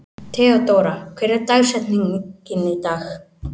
Theódóra, hver er dagsetningin í dag?